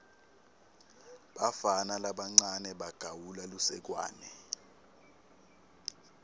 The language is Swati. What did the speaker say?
bafana labancane bagawula lusekwane